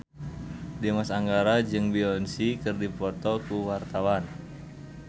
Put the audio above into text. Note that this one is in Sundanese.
Dimas Anggara jeung Beyonce keur dipoto ku wartawan